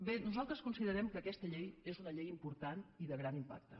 bé nosaltres considerem que aquesta llei és una llei important i de gran impacte